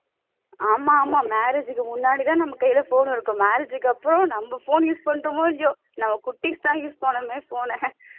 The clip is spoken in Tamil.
ஆமா ஆமா marriage க்கு முன்னாடி தான் நம்ம கைல phone இருக்கும் marriage க்கு அப்புறம் நம்ம phone use பண்றோமோ இல்லையோ நம்ம குட்டீஸ் தான் use பண்ணுமே phone அ